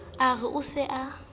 a re o se a